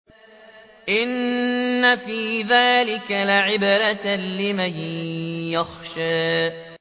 إِنَّ فِي ذَٰلِكَ لَعِبْرَةً لِّمَن يَخْشَىٰ